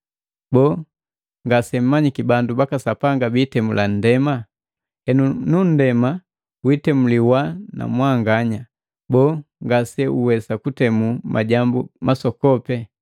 Boo, ngasemmanyiki bandu baka Sapanga bitemula nndema? Henu na nndema jitemuliwa na mwanganya, boo, ngaseuwesa kutemu majambu masoko?